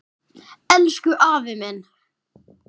Elsku afi minn!